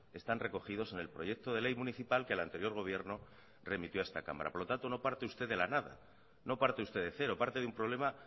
están recogidos en el proyecto de ley municipal que el anterior gobierno remitió a esta cámara por lo tanto no parte usted de la nada no parte usted de cero parte de un problema